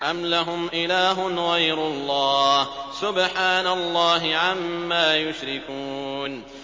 أَمْ لَهُمْ إِلَٰهٌ غَيْرُ اللَّهِ ۚ سُبْحَانَ اللَّهِ عَمَّا يُشْرِكُونَ